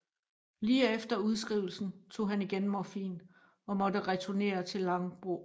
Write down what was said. Lige efter udskrivelsen tog han igen morfin og måtte returnere til Långbro